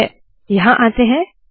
ठीक है यहाँ आते है